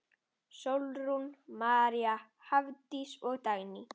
Sólrún María, Hafdís og Dagný.